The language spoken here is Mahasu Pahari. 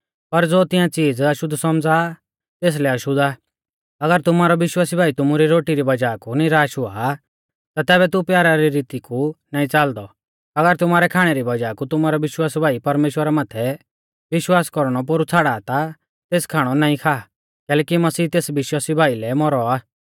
अगर तुमारौ विश्वासी भाई तुमु री रोटी री वज़ाह कु निराश हुआ आ ता तैबै तू प्यारा री रीती कु नाईं च़ालदौ अगर तुमारै खाणै री वज़ाह कु तुमारौ विश्वासी भाई परमेश्‍वरा माथै विश्वास कौरणौ पोरु छ़ाड़ा ता तेस खाणौ नाईं खा कैलैकि मसीह तेस विश्वासी भाई लै भी मौरौ आ